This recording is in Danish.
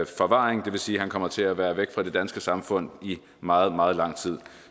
forvaring og det vil sige at han kommer til at være væk fra det danske samfund i meget meget lang tid